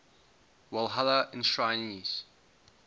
walhalla enshrinees